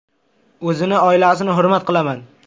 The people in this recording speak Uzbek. O‘zini, oilasini hurmat qilaman.